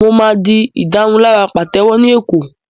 Mo máa di ìdárunlárà pàtẹ́wọ́ ní Èkó